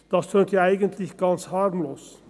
Das tönt eigentlich ganz harmlos.